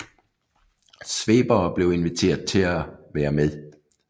Svebere blev inviteret til at være med